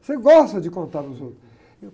Você gosta de contar para os outros.